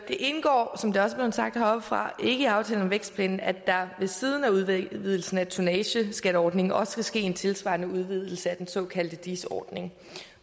indgår som det også er blevet sagt heroppefra ikke i aftalen om vækstplanen at der ved siden af udvidelsen af tonnageskatteordningen også skal ske en tilsvarende udvidelse af den såkaldte dis ordning